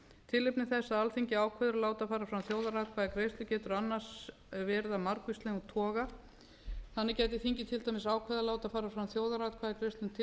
tilefni þess að alþingi ákveður að láta fara fram þjóðaratkvæðagreiðslu getur annars verið af margvíslegum toga þannig getur þingið til dæmis ákveðið að láta fara fram þjóðaratkvæðagreiðslu um